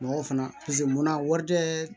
Mɔgɔ fana paseke munna wari tɛ